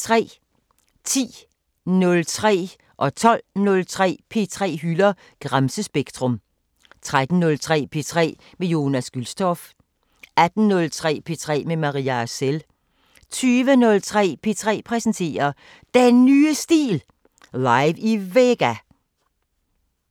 10:03: P3 hylder Gramsespektrum 12:03: P3 hylder Gramsespektrum 13:03: P3 med Jonas Gülstorff 18:03: P3 med Maria Arcel 20:03: P3 præsenterer DEN NYE STIL – live i VEGA